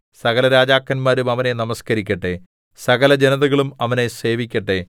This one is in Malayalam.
സകലരാജാക്കന്മാരും അവനെ നമസ്കരിക്കട്ടെ സകലജനതകളും അവനെ സേവിക്കട്ടെ